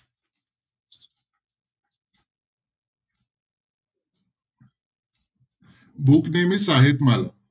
Book name is Sahitmala.